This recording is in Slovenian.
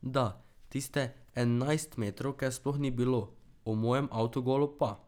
Da, tiste enajstmetrovke sploh ni bilo, o mojem avtogolu pa ...